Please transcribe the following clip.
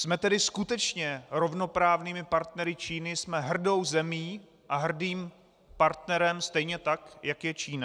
Jsme tedy skutečně rovnoprávnými partnery Číny, jsme hrdou zemí a hrdým partnerem stejně tak, jak je Čína?